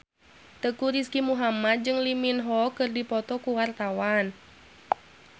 Teuku Rizky Muhammad jeung Lee Min Ho keur dipoto ku wartawan